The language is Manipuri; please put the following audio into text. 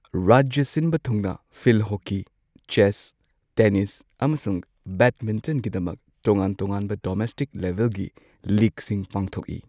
ꯔꯥꯖ꯭ꯌ ꯁꯤꯟꯕ ꯊꯨꯡꯅ ꯐꯤꯜꯗ ꯍꯣꯀꯤ, ꯆꯦꯁ, ꯇꯦꯅꯤꯁ, ꯑꯃꯁꯨꯡ ꯕꯦꯗꯃꯤꯟꯇꯟꯒꯤꯗꯃꯛ ꯇꯣꯉꯥꯟ ꯇꯣꯉꯥꯟꯕ ꯗꯣꯃꯦꯁꯇꯤꯛ ꯂꯦꯚꯦꯜꯒꯤ ꯂꯤꯒꯁꯤꯡ ꯄꯥꯡꯊꯣꯛꯏ꯫